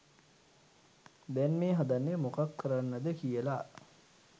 දැන් මේ හදන්නේ මොකක් කරන්නද කියල.